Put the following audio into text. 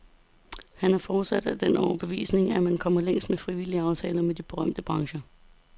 Han er fortsat af den overbevisning, at man kommer længst med frivillige aftaler med de berørte brancher.